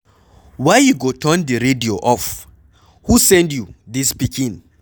Why you go turn the radio off? who send you dis pikin?